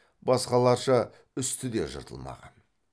басқаларша үсті де жыртылмаған